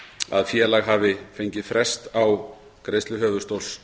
að félag hafi fengið frest á greiðslu höfuðstóls